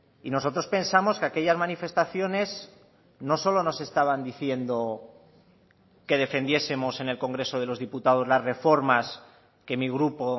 y nosotros pensamos que aquellas manifestaciones no solo nos estaban diciendo que defendiesemos en el congreso de los diputados las reformas que mi grupo